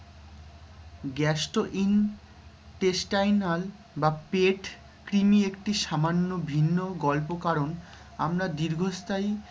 gastrointestinel বা পেট কৃমি একটি সামান্য ভিন্ন গল্প কারণ আমরা দীর্ঘস্থায়ী